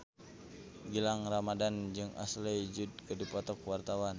Gilang Ramadan jeung Ashley Judd keur dipoto ku wartawan